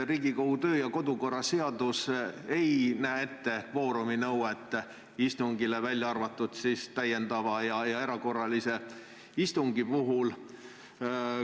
Riigikogu kodu- ja töökorra seadus ei kehtesta istungi puhul nõutavat kvoorumit, välja arvatud täiendava istungi ja erakorralise istungjärgu puhul.